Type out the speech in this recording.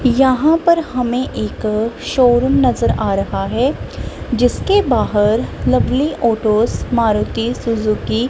यहां पर हमें एक शोरूम नजर आ रहा है जिसके बाहर लवली ऑटो मारुति सुजुकी --